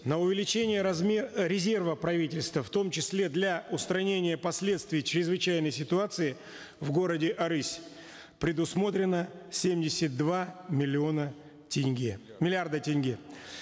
на увеличение э резерва правительства в том числе для устранения последствий чрезвычайной ситуации в городе арысь предусмотрено семьдесят два миллиона тенге миллиарда тенге